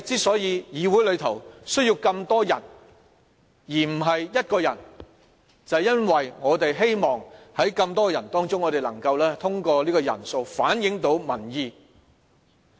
所以，議會需要更多人而不是一個人，便是因為我們希望在這麼多人當中，能夠通過人數反映到民意。